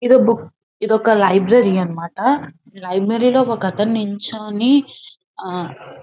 ఇది ఒక బుక్ . ఇది ఒక లైబ్రరీ అన్నమాట .ఈ లైబ్రరీ లో ఒక అతను నించోని--